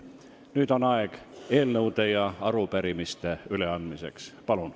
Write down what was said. Nüüd on aeg eelnõude ja arupärimiste üleandmiseks.